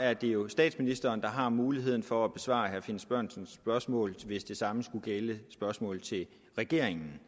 er det jo statsministeren der har muligheden for at besvare herre finn sørensens spørgsmål hvis det samme skulle gælde spørgsmål til regeringen